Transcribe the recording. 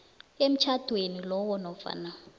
emtjhadweni lowo nofana